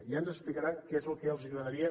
ja ens explicaran què és el que els agradaria